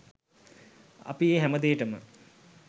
අපි ඒ හැමදේටම